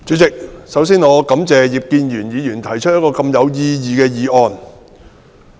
主席，首先，我感謝葉建源議員動議如此有意義的議案。